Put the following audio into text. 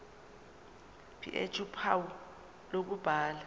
ph uphawu lokubhala